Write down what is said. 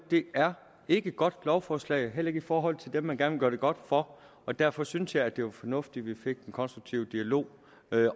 er ikke et godt lovforslag heller ikke i forhold til dem man gerne vil gøre det godt for og derfor synes jeg det var fornuftigt at vi fik en konstruktiv dialog